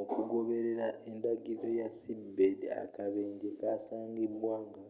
okugoberera endagiriro ya seabed akabenje kasangibwa nga